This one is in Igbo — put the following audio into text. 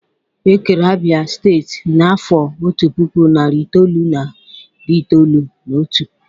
Ekere Abia steeti n'afọ otu puku, nari itoolu na iri itoolu na otu.